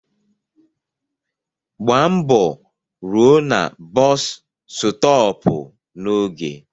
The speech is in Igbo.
Gbaa mbọ rụọ na bọs stọọpu n'oge.